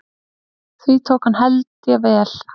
Því tók hann held ég vel.